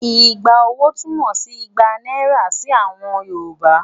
Igba owó' túmọ̀ sí igba náírà sí àwọn Yorùbá.